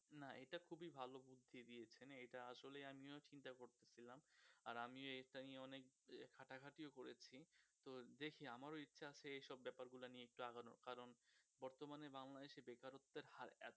না এটা খুবই ভালো বুদ্ধি দিয়েছেন এটা আসলেও আমিও চিন্তা করতেছিলাম আর আমিও এটা নিয়ে অনেক ঘাটাঘাটি ও করেছি তো দেখি আমারও ইচ্ছা আছে এসব ব্যাপারগুলা নিয়ে একটু আগানোর কারন বর্তমানে বাংলাদেশের বেকারত্বের হার